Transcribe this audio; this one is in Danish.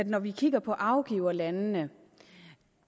når vi kigger på afgiverlandene